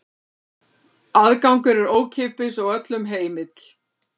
Aðgangur er ókeypis og öllum heimill.